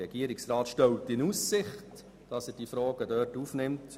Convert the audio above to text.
Der Regierungsrat stellt in Aussicht, dass er die Fragen dort aufnimmt.